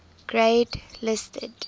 grade listed